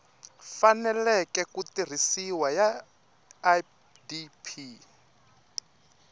faneleke ku tirhisiwa ya idp